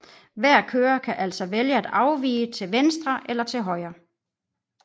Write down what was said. Hver kører kan altså vælge at afvige til venstre eller til højre